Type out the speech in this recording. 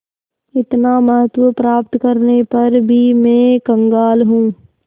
इतना महत्व प्राप्त करने पर भी मैं कंगाल हूँ